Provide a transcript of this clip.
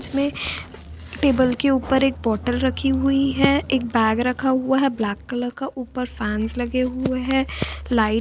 Table के ऊपर एक बॉटल रखी हुई है एक बैग रखा हुआ है ब्लैक कलर का ऊपर फैंस लगे हुए है लाइट्स लगी हुई हैं।